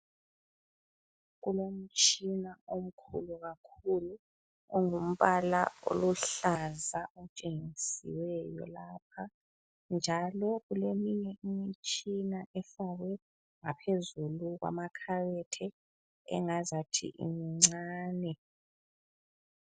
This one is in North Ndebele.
Kulomtshina omkhulu kakhulu ongumbala oluhlaza otshengisiweyo lapha, njalo kuleminye imitshina efakwe ngaphezulu kwamakhabothi engazathi imncane.